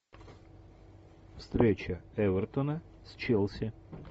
встреча эвертона с челси